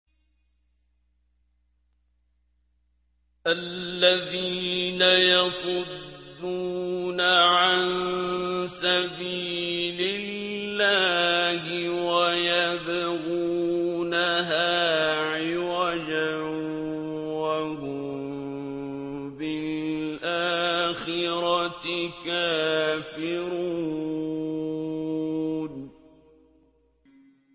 الَّذِينَ يَصُدُّونَ عَن سَبِيلِ اللَّهِ وَيَبْغُونَهَا عِوَجًا وَهُم بِالْآخِرَةِ كَافِرُونَ